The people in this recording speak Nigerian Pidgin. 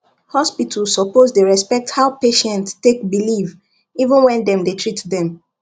hospital suppose dey respect how patient take believe even when dem dey treat dem